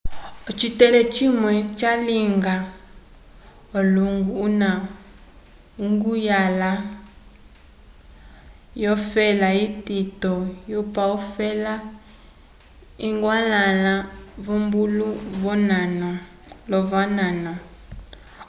ocitele cimwe salinga olwongo una uguhala yo fela itito yupa ofela iguhwalanguhala vobulo lovonano